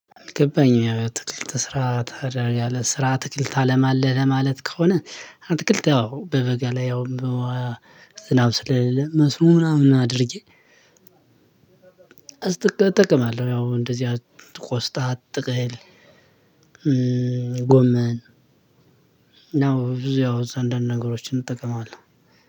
ገባኝ አትክልት ስራ አትክልት ታለማለህ ለማለት ከሆነ አትክልት አዎ በበጋ ላይ ያውም በውሃ ዝናብ ስለሌለ መስኖ ምናምን አድርጌ እጠቀማለሁ። ያው እንደዚህ ቆስጣ ጥቅል ጎመን ነው። ብዙ ያው እዛ አንዳንድ ነገሮችን እጠቀማለሁ።